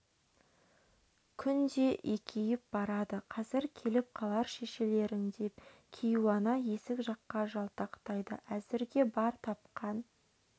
күн де екейіп барады қазір келіп қалар шешелерің деп кейуана есік жаққа жалтақтайды әзірге бар тапқан